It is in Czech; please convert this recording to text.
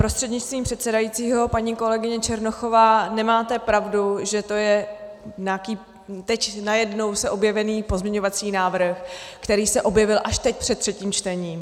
Prostřednictvím předsedajícího paní kolegyně Černochová, nemáte pravdu, že je to nějaký teď najednou se objevený pozměňovací návrh, který se objevil až teď před třetím čtením.